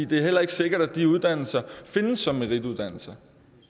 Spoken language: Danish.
det er heller ikke sikkert at de uddannelser findes som merituddannelser